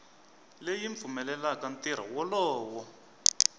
leyi yi pfumelelaka ntirho wolowo